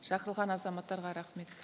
шақырылған азаматтарға рахмет